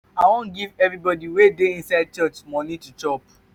i wan give everybody wey dey inside church money to chop.